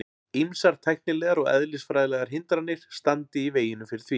Ýmsar tæknilegar og eðlisfræðilegar hindranir standi í veginum fyrir því.